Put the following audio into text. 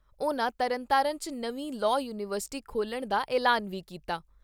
ਉਨ੍ਹਾਂ ਤਰਨਤਾਰਨ 'ਚ ਨਵੀਂ ਲਾਅ ਯੂਨੀਵਰਸਿਟੀ ਖੋਲਣ ਦਾ ਐਲਾਨ ਵੀ ਕੀਤਾ।